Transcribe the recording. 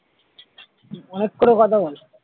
অনেক করে কথা বল,